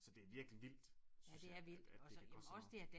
Så det virkelig vildt synes jeg at at det kan koste så meget